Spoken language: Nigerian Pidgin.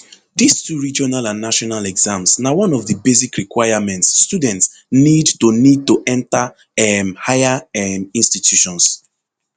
dis two regional and national exams na one of di basic requirements students need to need to enta um higher um institutions